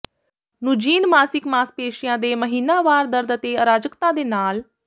ਨੂਜੀਨ ਮਾਸਿਕ ਮਾਸਪੇਸ਼ੀਆਂ ਦੇ ਮਹੀਨਾਵਾਰ ਦਰਦ ਅਤੇ ਅਰਾਜਕਤਾ ਦੇ ਨਾਲ